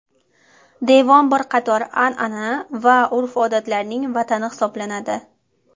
Devon bir qator anana va urf-odatlarning vatani hisoblanadi.